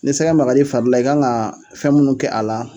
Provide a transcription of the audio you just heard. Ni sɛgɛ magar'i fari la i kan ŋaa fɛn minnu kɛ a la